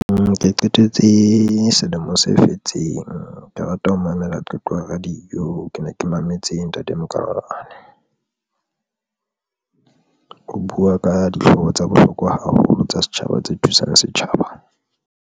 Nke qetetse selemo se fetseng ke rata ho mamela qeto radio ke ne ke mametse Ntate Makamane o buwa ka dihlooho tsa bohlokwa haholo tsa setjhaba, tse thusang setjhaba.